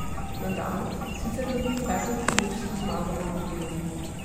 Nadal sicer lovi peto turnirsko zmago v Madridu.